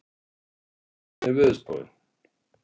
Alli, hvernig er veðurspáin?